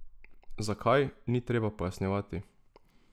Zakaj, ni treba pojasnjevati.